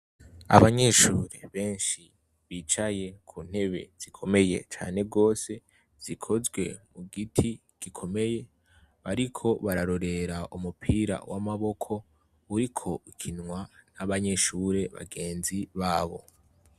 Abanyeshure benshi bicaye kuntebe zikomeye cane gose zikozwe kugiti gikomeye bariko barorera umupira wamaboko uriko ukinwa nabanyeshure bagenzi babo